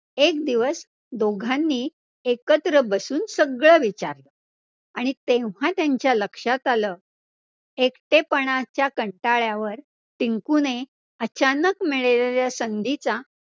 एक दिवस दोघांनी एकत्र बसून सगळं विचारलं आणि तेव्हा त्यांच्या लक्षात आलं. एकटेपणाच्या कंटाळ्यावर टिंकुने अचानक मिळालेल्या संधीचा